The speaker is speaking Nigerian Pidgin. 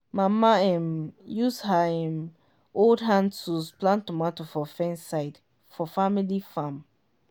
mama um use her um old hand tools plant tomato for fence side for family farm.